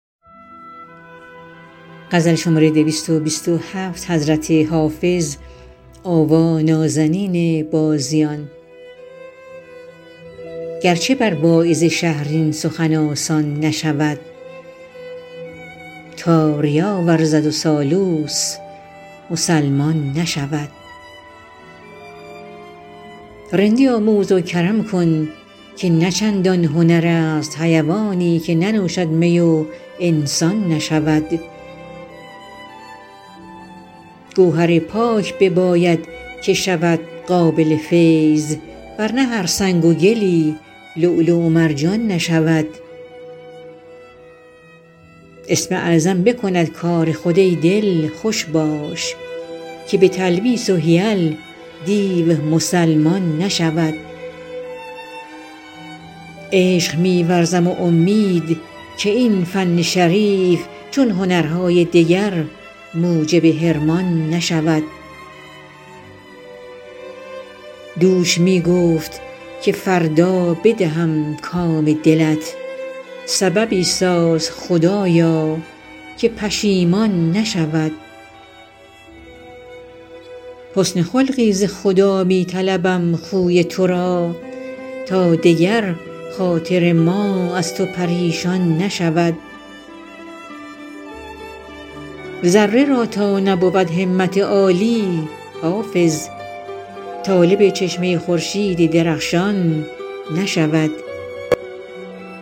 گر چه بر واعظ شهر این سخن آسان نشود تا ریا ورزد و سالوس مسلمان نشود رندی آموز و کرم کن که نه چندان هنر است حیوانی که ننوشد می و انسان نشود گوهر پاک بباید که شود قابل فیض ور نه هر سنگ و گلی لؤلؤ و مرجان نشود اسم اعظم بکند کار خود ای دل خوش باش که به تلبیس و حیل دیو مسلمان نشود عشق می ورزم و امید که این فن شریف چون هنرهای دگر موجب حرمان نشود دوش می گفت که فردا بدهم کام دلت سببی ساز خدایا که پشیمان نشود حسن خلقی ز خدا می طلبم خوی تو را تا دگر خاطر ما از تو پریشان نشود ذره را تا نبود همت عالی حافظ طالب چشمه خورشید درخشان نشود